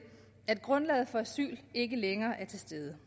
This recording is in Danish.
at grundlaget for asyl ikke længere er til stede